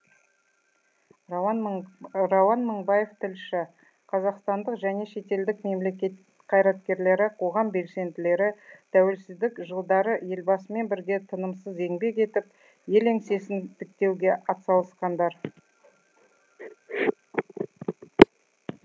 рауан мыңбаев тілші қазақстандық және шетелдік мемлекет қайраткерлері қоғам белсенділері тәуелсіздік жылдары елбасымен бірге тынымсыз еңбек етіп ел еңсесін тіктеуге атсалысқандар